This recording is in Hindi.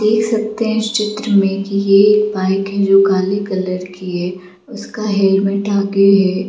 देख सकते है इस चित्र मे की ये बाइक है जो काली कलर की है उसका हेलमेट आगे है।